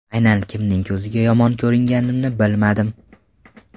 Aynan kimning ko‘ziga yomon ko‘ringanimni bilmadim.